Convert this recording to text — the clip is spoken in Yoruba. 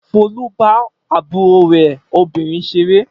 Folú bá àbúrò rẹ̀ obìnrin ṣeré.